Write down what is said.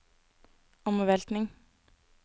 omveltning